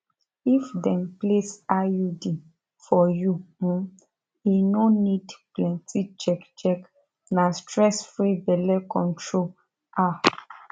if dem place iud for you um e no need plenty check check na stressfree belle control ah